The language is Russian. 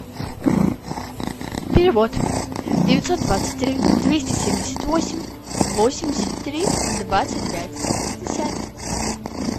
перевод девятьсот двадцать три двести семьдесят восемь восемьдесят три двадцать пять пятьдесят